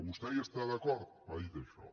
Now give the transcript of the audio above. vostè hi està d’acord m’ha dit això